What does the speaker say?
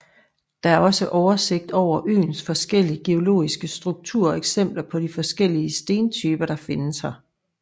Der er også oversigt over øens forskellige geologiske struktur og eksempler på de forskellige stentyper der findes her